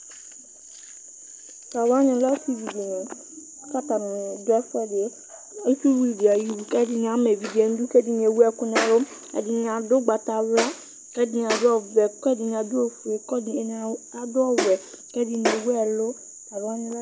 asivi dɩnɩ la, adʊ ɛfuɛdɩ, ɛdɩnɩ ama evidze nʊ idu kʊ ɛdɩnɩ ewuɛlʊ, ɛdɩnɩ adʊ awu ugbatawla, kʊ ɛdɩnɩ adʊ ɔvɛ , kʊ ɛdɩnɩ adʊ ofue, kʊ ɛdɩnɩ adʊ ɔwɛ, ɛdɩnɩ ewu ɛlʊ